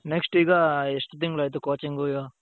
next ಈಗ ಎಷ್ಟು ತಿಂಗಳಾಯ್ತು coaching ಹೋಗಿ?